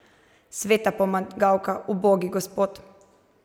Sveta pomagavka, ubogi gospod!